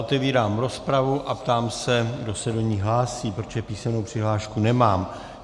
Otevírám rozpravu a ptám se, kdo se do ní hlásí, protože písemnou přihlášku nemám.